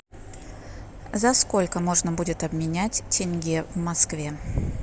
за сколько можно будет обменять тенге в москве